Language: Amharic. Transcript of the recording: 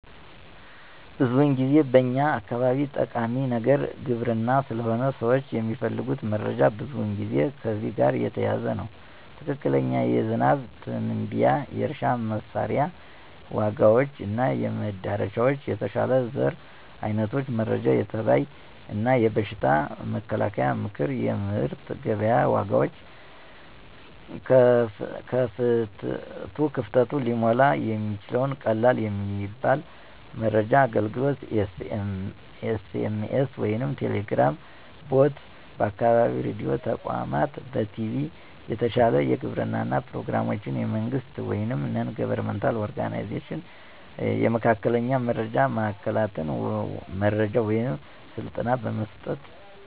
ብዙውን ጊዜ በኛ አካባቢ ጠቃሚዉ ነገር ግብርና ስለሆነ፣ ሰዎች የሚፈልጉት መረጃ ብዙውን ጊዜ ከዚህ ጋር የተያያዘ ነው። ትክክለኛ የዝናብ ትንበያ፣ የእርሻ መሳሪያ ዋጋዎች እና መደረሻዎች፣ የተሻለ ዘር አይነቶች መረጃ፣ የተባይ እና የበሽታ መከላከያ ምክር፣ የምርት ገበያ ዋጋዎች። ክፍተቱ ሊሞላ እሚችለዉ ቀላል የሞባይል መረጃ አገልግሎት (SMS ወይም Telegram bot) ፣ በአካባቢ ሬዲዮ ተቋማት፣ በቲቪ የተሻለ የግብርና ፕሮግራሞች፣ የመንግሥት ወይም NGO የመካከለኛ መረጃ ማዕከላት መረጃ ወይም ስልጠና በመስጠት።